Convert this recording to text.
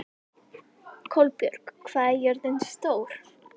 Kolbjörg, hvað er jörðin stór?